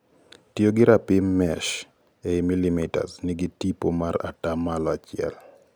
Tiyo gi rapim mesh eii millimetre nigi tipo mar ataa malo achiel